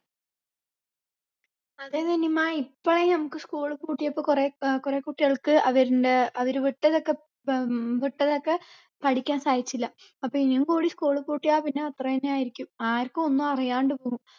അതെ നനിമ്മ ഇപ്പൊ നമ്മുക്ക് school പൂട്ടിയപ്പൊ കുറേ ആഹ് കുറെ കുട്ടികൾക്ക് അവർന്റെ അവര് വിട്ടതൊക്കെ ഉം വിട്ടതൊക്കെ പഠിക്കാൻ സാധിച്ചില്ല അപ്പൊ ഇനിയും കൂടി school പൂട്ടിയാ പിന്നെ അത്രേന്നെ ആയിരിക്കും ആർക്കും ഒന്നും അറിയാണ്ട് പോകും